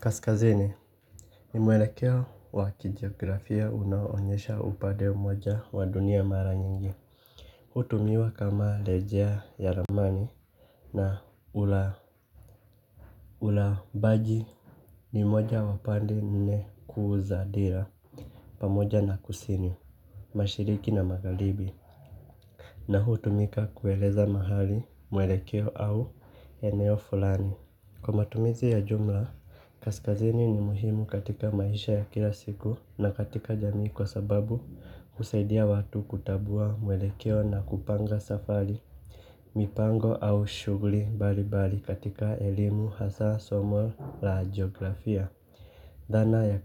Kaskazini ni mwelekeo wakijiografia unaoonyesha upade moja wa dunia mara nyingi. Hutumiwa kama lejea ya ramani na ula ula bagi. Ni moja wa pande nne kuu zaadera pamoja na kusini mashiriki na magaribi na hutumika kueleza mahali mwelekeo au eneo fulani. Kwa matumizi ya jumla, kaskazini ni muhimu katika maisha ya kila siku na katika jamii kwa sababu husaidia watu kutabua mwelekeo na kupanga safari. Mipango au shugli baribari katika elimu hasa somo la geografia. Dhana ya